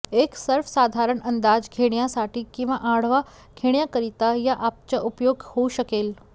एक सर्वसाधारण अंदाज घेण्यासाठी किंवा आढावा घेण्याकरीता या अॅपचा उपयोग होऊ शकेल